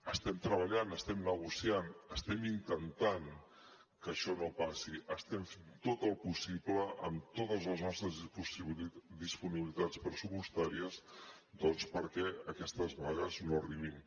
estem treballant estem negociant estem intentant que això no passi estem fent tot el possible amb totes les nostres disponibilitats pressupostàries doncs perquè aquestes vagues no arribin